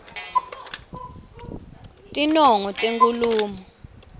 tinongo tenkhulumo